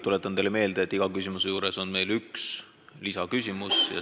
Tuletan teile meelde, et iga põhiküsimuse juures saab esitada ühe lisaküsimuse.